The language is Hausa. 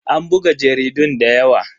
An buga jaridun da yawa.